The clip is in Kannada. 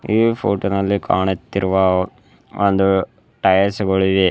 ಈ ಫೋಟೋ ನಲ್ಲಿ ಕಾಣುತ್ತಿರುವ ಒಂದು ಟೈಯರ್ಸ್ಗಳಿವೆ.